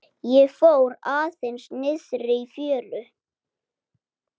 Ég fór aðeins niðrí fjöru.